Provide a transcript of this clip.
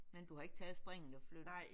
Men du har ikke taget springet og flyttet?